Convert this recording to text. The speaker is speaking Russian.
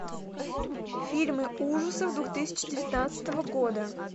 фильмы ужасов двух тысячи девятнадцатого года